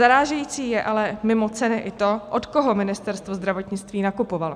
Zarážející je ale mimo ceny i to, od koho Ministerstvo zdravotnictví nakupovalo.